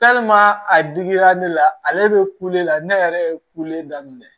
a digira ne la ale be kule la ne yɛrɛ ye kule daminɛ